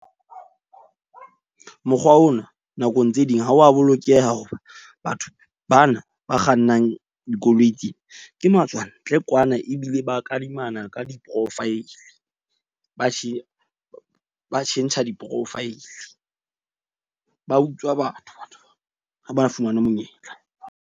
Mokgwa ona nakong tse ding ha wa bolokeha hoba batho bana ba kgannang dikoloi tsena, ke matswantle kwana, ebile ba kadimana ka di-profile. Ba ba tjhentjha di-profile. Ba utswa batho ha ba fumane monyetla.